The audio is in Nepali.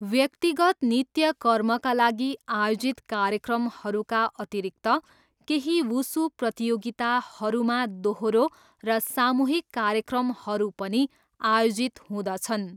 व्यक्तिगत नित्यकर्मका लागि आयोजित कार्यक्रमहरूका अतिरिक्त केही वुसू प्रतियोगिताहरूमा दोहोरो र सामूहिक कार्यक्रमहरू पनि आयोजित हुँदछन्।